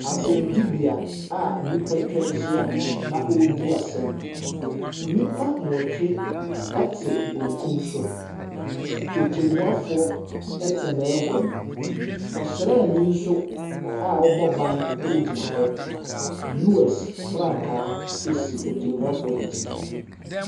Asɔnnibea a nnipa atwa ahyia na wɔredi asɛm. Nnipa nwɔtwe te benkun so. Otemmuafoɔ te n'agua mu. Ɔsraani nso a ɔbɔ ban gyina hɔ. US franka si Otemmuafoc no akyi.